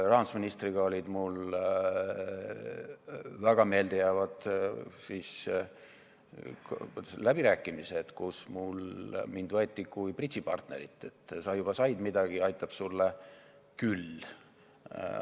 Rahandusministriga olid mul väga meeldejäävad läbirääkimised, kus mind võeti kui bridžipartnerit, et sa juba said midagi ja aitab sulle küll.